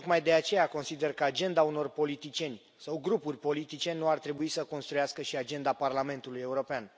Tocmai de aceea consider că agenda unor politicieni sau grupuri politice nu ar trebui să construiască și agenda Parlamentului European.